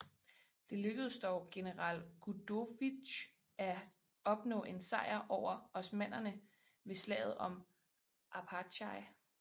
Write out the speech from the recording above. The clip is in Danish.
Det lykkedes dog general Gudovitj af opnå en sejr over osmannerne ved slaget om Arpachai